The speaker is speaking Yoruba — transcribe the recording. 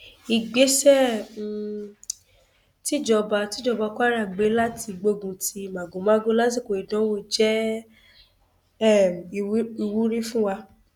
ìgbésẹ um tìjọba tìjọba kwara gbé láti gbógun ti màgòmágó lásìkò ìdánwò jẹ um ìwúrí fún wa